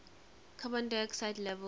carbon dioxide levels